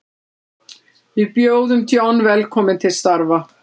Við bjóðum John velkominn til starfa.